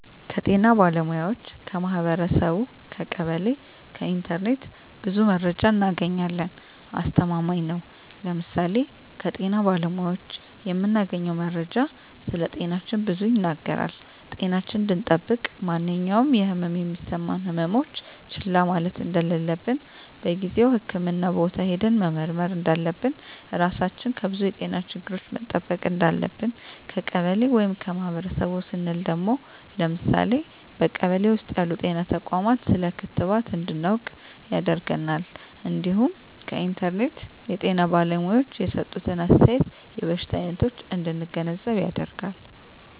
ከጤና ባለሙያዎች ,ከማህበረሰቡ , ከቀበሌ ,ከኢንተርኔት ብዙ መረጃ እናገኛለን። አስተማማኝ ነው ለምሳሌ ከጤና ባለሙያዎች የምናገኘው መረጃ ስለጤናችን ብዙ ይናገራል ጤናችን እንድጠብቅ ማንኛውም የህመም የሚሰማን ህመሞች ችላ ማለት እንደለለብን በጊዜው ህክምህና ቦታ ሄደን መመርመር እንዳለብን, ራሳችን ከብዙ የጤና ችግሮች መጠበቅ እንዳለብን። ከቀበሌ ወይም ከማህበረሰቡ ስንል ደግሞ ለምሳሌ በቀበሌ ውስጥ ያሉ ጤና ተቋማት ስለ ክትባት እንድናውቅ ያደርገናል እንዲሁም ከኢንተርኔት የጤና ባለሙያዎች የሰጡትን አስተያየት የበሽታ አይነቶች እንድንገነዘብ ያደርጋል።